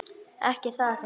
Ekki það nei?